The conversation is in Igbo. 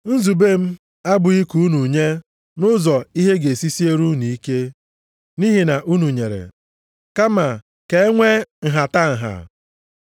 Nzube m abụghị ka unu nye nʼụzọ ihe ga-esi siere unu ike nʼihi na unu nyere. Kama ka e nwe nhatanha.